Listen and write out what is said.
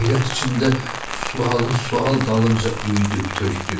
Heyrət içində sualı sual dalınca üyüdüb tökdü.